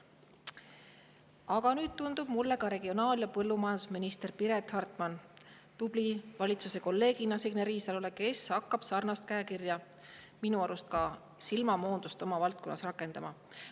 Aga nüüd tundub mulle, et ka regionaal‑ ja põllumajandusminister Piret Hartman on hakanud valitsuses Signe Riisalo tubli kolleegina sarnast käekirja ja minu arust ka silmamoondust oma valdkonnas rakendama.